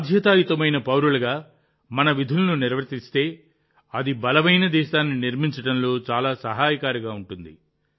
బాధ్యతాయుతమైన పౌరులుగా మనం మన విధులను నిర్వర్తిస్తే అది బలమైన దేశాన్ని నిర్మించడంలో చాలా సహాయకారిగా ఉంటుంది